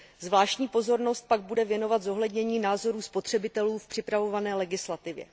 Zvláštní pozornost pak bude věnovat zohlednění názorů spotřebitelů v připravované legislativě.